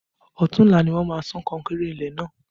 Ọ̀tunla ni wọ́n máa sán kankéré ilé náà